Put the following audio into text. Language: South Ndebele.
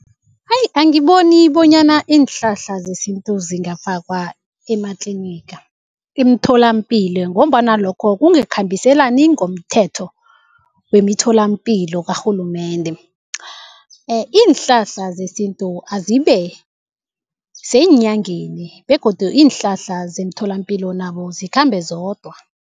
Hayi angiboni bonyana iinhlahla zesintu zingafakwa ematliniga, imtholampilo ngombana lokho kungekhambiselani ngomthetho wemithelompilo karhulumende. Iinhlahla zesintu azibe seenyangeni begodu iinhlahla zemtholampilo nabo zikhambe zodwa.